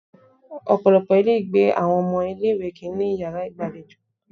Ọ̀pọ̀lọpọ̀ ilé ìgbé àwọn ọmọ ilé ìwé kì ń ní yàrá ìgbàlejò.